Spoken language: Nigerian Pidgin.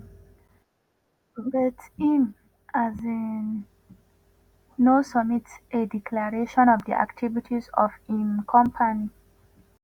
but im um no submit a declaration of di activities of im company.